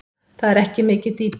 Það er ekki mikið dýpi.